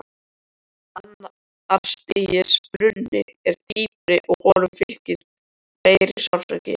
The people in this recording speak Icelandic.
Annars stigs bruni er dýpri og honum fylgir meiri sársauki.